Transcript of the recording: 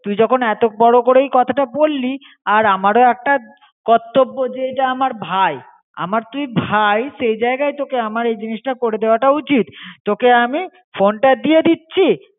তুই যখন এতো বড় করে কোথাটা বলি, আর আমারও একটা কর্তব জে এটা আমার ভাই. আমার তুই ভাই, সে যাইগাই তোকে আমার এই জিনিসটা করে দেওয়া উচিত. তোকে আমি ফোন তা দিয়ে দিচি.